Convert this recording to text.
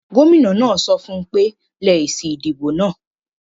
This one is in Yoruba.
Gómìnà náà sọ fún ùn pé; lẹ èsì ìdìbò náà